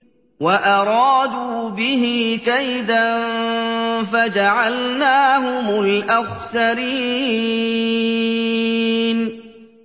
وَأَرَادُوا بِهِ كَيْدًا فَجَعَلْنَاهُمُ الْأَخْسَرِينَ